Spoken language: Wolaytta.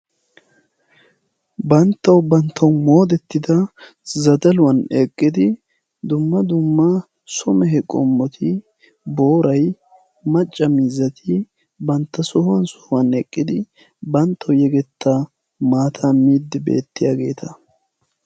Banttawu banttawu moodettida zadaluwan eqqidi dumma dumma some he qommoti boorai macca mizzati bantta sohuwan sohuwan eqqidi banttau yegetta maata miiddi beettiyaageeta.